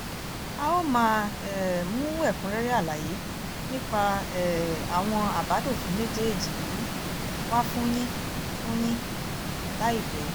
a ó máa um mú ẹ̀kúnrẹ́rẹ́ àlàyé nípa um àwọn àbádòfin méjèèjì yìí wá fún yín fún yín láìpẹ́